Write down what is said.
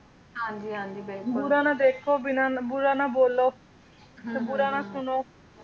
ਬੁਰਾ ਨਾ ਦੇਖੋ ਬਿਨਾ ਨਾ ਬੁਰਾ ਨਾ ਬੋਲੋ ਹੁੰ ਹੁੰ ਤੇ ਬੁਰਾ ਨਾ ਸੁਣੋ